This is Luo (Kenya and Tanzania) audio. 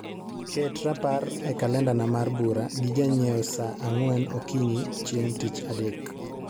ket rapar e kalendana mar bura gi janyieo saa angwen okinyi chieng tich adek